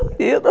Farofeiro.